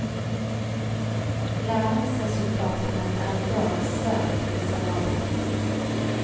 Læringsresultatene er i dag svært miserable.